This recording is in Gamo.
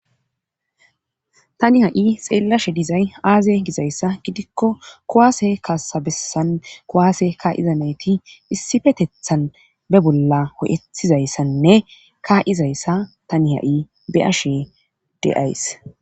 tani ha'i xeellashe dizay aaze gizayssa gidikko kuwaase kaasabessan kowaase kaa7iza nayti issifetethan be bolla ho'ethizayssanne kaa'izayssa tani ha'i be ashe de'ays